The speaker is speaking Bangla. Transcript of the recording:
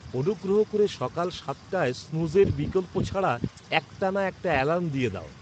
অনুগ্রহ করে সকাল সাতটায় স্নুজের বিকল্প ছাড়া একটানা একটা অ্যালার্ম দিয়ে দাও।